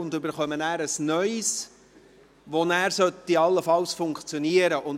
Sie bekommen ein Neues, das nachher allenfalls funktionieren sollte.